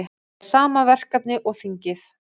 Fær sama verkefni og þingið